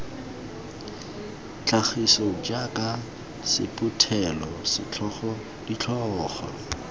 tlhagiso jaaka sephuthelo setlhogo ditlhogo